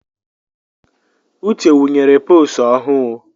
Uche wunyere posu ọhụụ̣